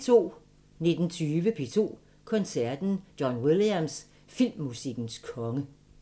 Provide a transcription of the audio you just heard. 19:20: P2 Koncerten – John Williams – filmmusikkens konge